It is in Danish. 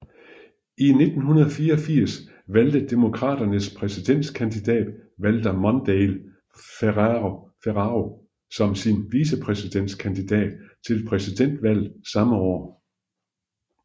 I 1984 valgte Demokraternes præsidentkandidat Walter Mondale Ferraro som sin vicepræsidentkandidat til præsidentvalget samme år